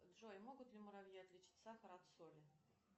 джой могут ли муравьи отличить сахар от соли